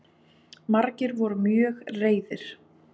Margir voru mjög reiðir